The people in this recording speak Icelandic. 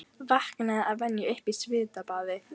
Vaknaði að venju upp í svitabaði.